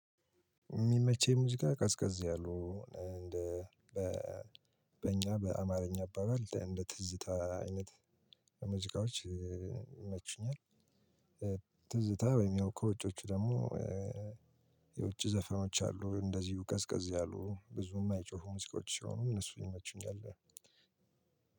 የሚመቸው ሙዚቃ ቀዝቀዝ ያሉ በእኛ በአማርኛ አባባል እንደ ትዝታ አይነት ሙዚቃዎች ይመቹኛል። ትዝታ ወይም ያው ከውጮቹ ደግሞ የውጭ ዘፈኖች አሉ እንደዚሁ ቀዝቀዝ ያሉ ብዙም አይጮሁም ሙዚቃዎች ሲሆኑ እነሱ ይመቸኛል።